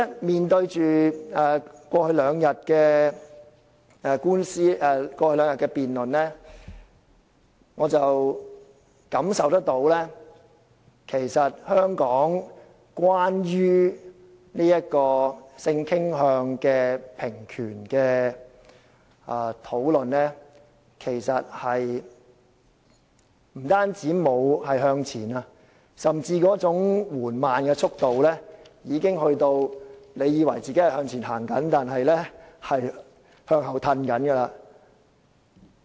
回顧過去兩天的辯論，我感受到香港對於性傾向的平權的討論，其實不但沒有向前，更甚的是，其速度之緩慢已達到令人以為自己向前走但其實是在向後退的地步。